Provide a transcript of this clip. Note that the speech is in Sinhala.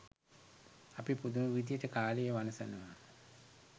අපි පුදුම විදිහට කාලය වනසනවා.